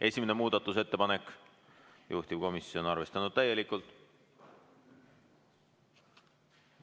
Esimene muudatusettepanek, juhtivkomisjon on arvestanud täielikult.